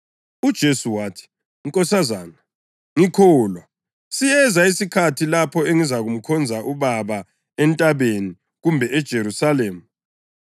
UJesu wathi, “nkosazana, ngikholwa, siyeza isikhathi lapho elingezukumkhonza uBaba entabeni kumbe eJerusalema.